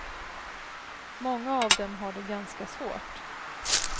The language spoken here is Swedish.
Många av dem har det ganska svårt.